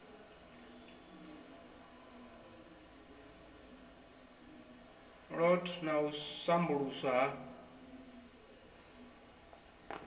lot na u sambuluswa ha